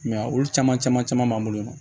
I m'a ye olu caman caman b'an bolo yen nɔ